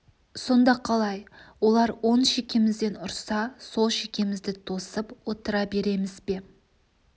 сонда қалай олар оң шекемізден ұрса сол шекемізді тосып отыра береміз бе